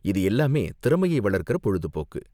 இது எல்லாமே திறமையை வளர்க்குற பொழுதுபோக்கு.